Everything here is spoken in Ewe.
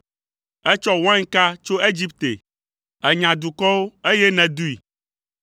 Ètsɔ wainka tso Egipte, ènya dukɔwo, eye nèdoe.